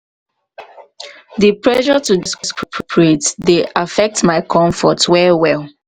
di pressure to corporate dey affect my comfort well well.